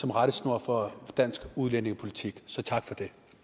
rettesnor for dansk udlændingepolitik så tak